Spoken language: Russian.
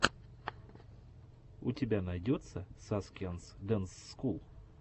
у тебя найдется саскианс дэнс скул